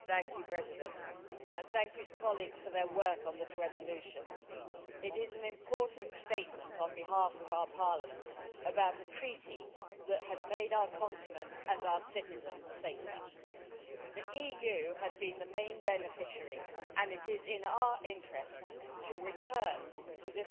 Mr President, I would like to thank my colleagues for their work on this resolution. It is an important statement on behalf of our Parliament about a treaty that has made our continent and our citizens safer. The EU has been the main beneficiary, and it is in our interests to return to